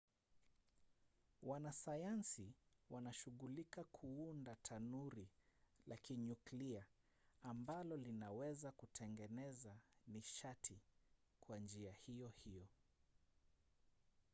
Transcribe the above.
wanasayansi wanashugulika kuunda tanuri la kinyuklia ambalo linaweza kutengeneza nishati kwa njia hiyo hiyo